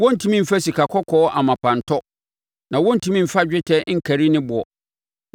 Wɔrentumi mfa sikakɔkɔɔ amapa ntɔ, na wɔrentumi mfa dwetɛ nkari ne boɔ.